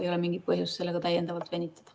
Ei ole mingit põhjust sellega venitada.